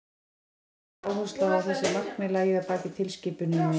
dómstóllinn lagði áherslu á að þessi markmið lægju að baki tilskipuninni